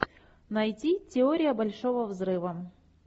найти теория большого взрыва